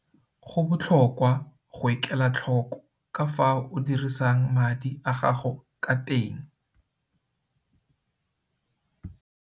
Go botlhokwa go ikela tlhoko ka fao o dirisang madi a gago ka teng.